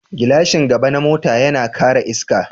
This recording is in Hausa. Gilashin gaba na mota yana kare iska.